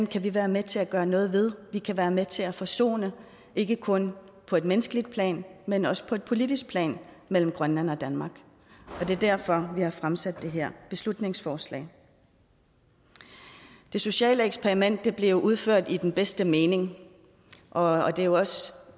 kan vi være med til at gøre noget ved vi kan være med til at forsone ikke kun på et menneskeligt plan men også på et politisk plan mellem grønland og danmark det er derfor vi har fremsat det her beslutningsforslag det sociale eksperiment blev udført i den bedste mening og det er jo også